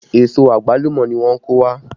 Èso àgbálùmọ́ ni wọ́n kó wá